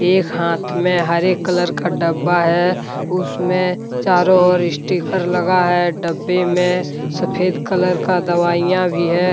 एक हाथ में हरे कलर का डब्बा है। उसमें चारों ओर इस्टीकर लगा है। डब्बे में सफेद कलर का दवाइयां भी है।